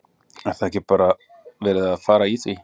Er það ekki bara verið að fara í því?